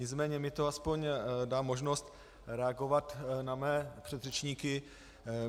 Nicméně mi to aspoň dá možnost reagovat na své předřečníky.